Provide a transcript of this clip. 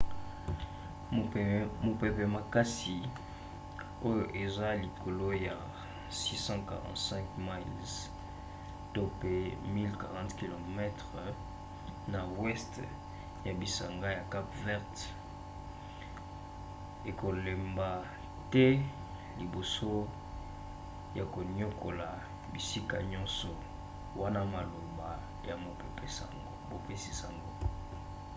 mopepe makasi oyo eza likolo ya 645 miles 1040 km na weste ya bisanga ya cape vert ekolemba te liboso ya koniokola bisika nyonso wana maloba ya mopesi-sango